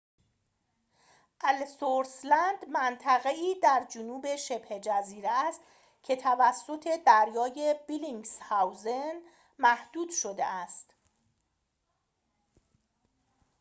الثورث لند منطقه‌ای در جنوب شبه‌جزیره است که توسط دریای بلینگسهاوزن محدود شده است